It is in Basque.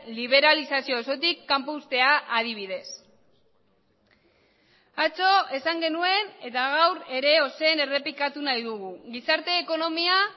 liberalizazio osotik kanpo uztea adibidez atzo esan genuen eta gaur ere ozen errepikatu nahi dugu gizarte ekonomia